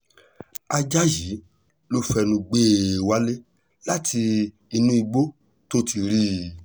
ajá yìí ló fẹnu gbé e wálé láti inú igbó tó ti rí i